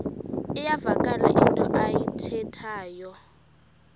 iyavakala into ayithethayo